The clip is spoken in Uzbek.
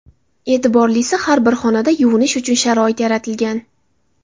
E’tiborlisi, har bir xonada yuvinish uchun sharoit yaratilgan.